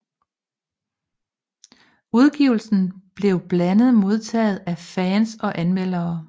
Udgivelsen blev blandet modtaget af fans og anmeldere